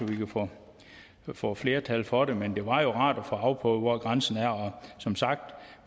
vi kan få få flertal for det men det var jo rart at få afprøvet hvor grænsen er og som sagt